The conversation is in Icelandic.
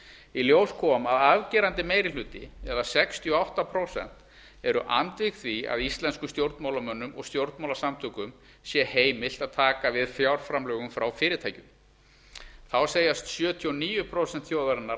í ljós kom að afgerandi meiri hluti eða sextíu og átta prósent eru andvíg því að íslenskum stjórnmálamönnum og stjórnmálasamtökum sé heimilt að taka við fjárframlögum frá fyrirtækjum þá segjast sjötíu og níu prósent þjóðarinnar